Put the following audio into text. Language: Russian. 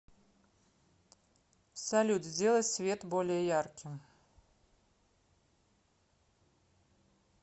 салют сделай свет более ярким